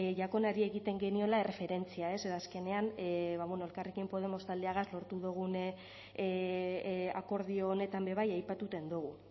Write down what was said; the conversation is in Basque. jakonari egiten geniola erreferentzia ez ze azkenean ba bueno elkarrekin podemos taldeagaz lortu dugun akordio honetan be bai aipatuten dogu